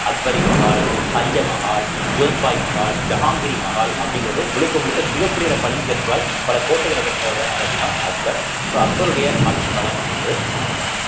அக்பரி மஹால், பஞ்ச மஹால், ஜோத்பாய் மஹால், ஜஹாங்கிரி மஹால் அப்படிங்கிறது முழுக்க முழுக்க சிகப்பு நிற பளிங்கு கற்களால் பல கோட்டைகளை கட்டினவர்தான் யாரு அப்படின்னா அக்பர் so அக்பருடைய ஆட்சிக்காலம் அப்படிங்கறது அவ்ளோதான்